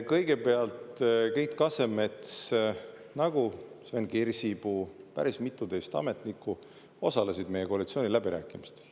Kõigepealt, Keit Kasemets, nagu ka Sven Kirsipuu, päris mitu teist ametnikku, osales meie koalitsiooniläbirääkimistel.